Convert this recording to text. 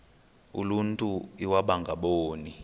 uluntu iwaba ngaboni